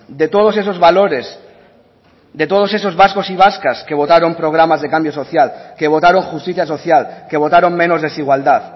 de todos esos valores de todos esos vascos y vascas que votaron programas de cambio social que votaron justicia social que votaron menos desigualdad